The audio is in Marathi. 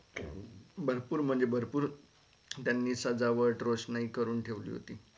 भरपुर म्हणजे भरपूर त्यांनी सजावट रोशनाई करून ठेवली होती.